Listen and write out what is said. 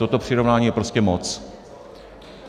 Toto přirovnání je prostě moc.